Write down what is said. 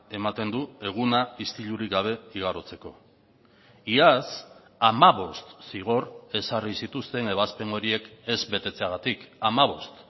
ematen du eguna istilurik gabe igarotzeko iaz hamabost zigor ezarri zituzten ebazpen horiek ez betetzeagatik hamabost